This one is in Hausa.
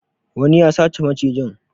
Wani ya sace macijin.